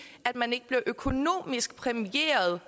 at man ikke blev økonomisk præmieret